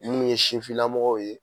Munnu ye sinfinnamɔgɔw ye